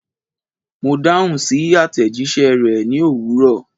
Mo dahun si atejise re ni owuro